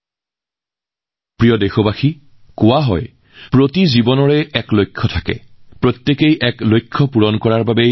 মোৰ প্ৰিয় দেশবাসী কোৱা হয় যে প্ৰতিটো জীৱনৰ এটা লক্ষ্য থাকে প্ৰত্যেকৰে জন্ম হয় এটা লক্ষ্য পূৰণৰ বাবে